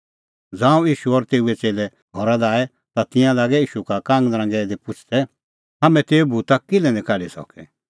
ज़ांऊं ईशू और तेऊए च़ेल्लै घरा लै आऐ ता तिंयां लागै ईशू का कांगनरांगै दी पुछ़दै हाम्हैं तेऊ भूता किल्है निं काढी सकै